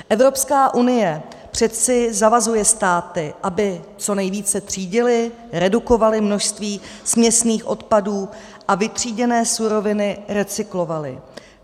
Evropská unie přece zavazuje státy, aby co nejvíce třídily, redukovaly množství směsných odpadů a vytříděné suroviny recyklovaly.